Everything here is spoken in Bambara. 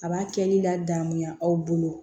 A b'a kɛ ne la gamuya aw bolo